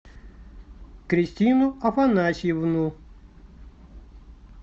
кристину афанасьевну